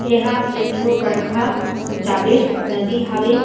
एहा एक ठो बड़खा जाबेर नदी हावे--